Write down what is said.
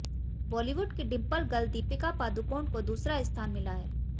बॉलीवुड की dimple girl Deepika Padukone को दूसरा स्थान मिला है